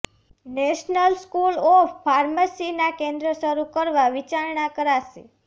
national school of ફાર્મસીના કેન્દ્રો શરૂ કરવા વિચારણા કરાશે